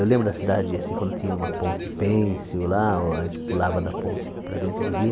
Eu lembro da cidade, assim, quando tinha uma ponte pênsil lá, a gente pulava da ponte para dentro do rio.